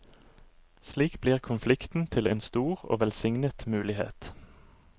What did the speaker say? Slik blir konflikten til en stor og velsignet mulighet.